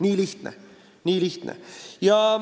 Nii lihtne see ongi.